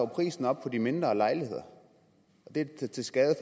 prisen op på de mindre lejligheder og det er da til skade